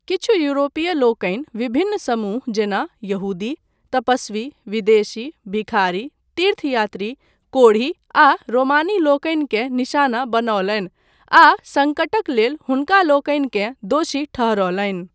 किछु यूरोपीय लोकनि विभिन्न समूह जेना यहूदी, तपस्वी, विदेशी, भिखारी, तीर्थयात्री, कोढ़ी, आ रोमानीलोकनिकेँ निशाना बनौलनि आ सङ्कटक लेल हुनकालोकनिकेँ दोषी ठहरौलनि।